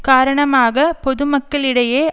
காரணமாக பொதுமக்களிடையே